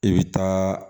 I bɛ taa